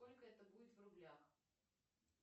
сколько это будет в рублях